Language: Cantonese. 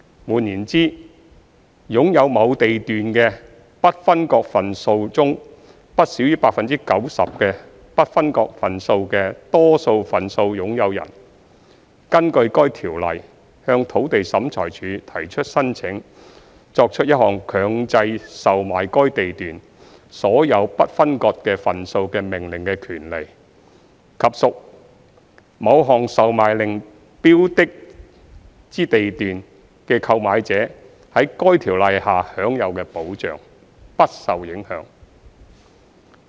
換言之，擁有某地段的不分割份數中不少於 90% 的不分割份數的多數份數擁有人，根據該條例向土地審裁處提出申請作出一項強制售賣該地段所有不分割份數的命令的權利，以及屬某項售賣令標的之地段的購買者在該條例下享有的保障，不受影響。